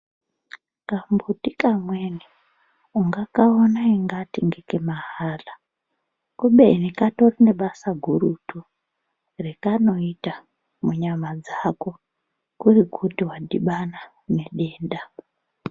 Ngambuti kamweni ungakaona ungatei ngeke mahala kubeni katorine basa gurutu rekanoita munyama dzeko kuri kuti wadhibana nedenda.